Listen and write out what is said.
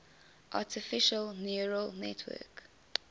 artificial neural network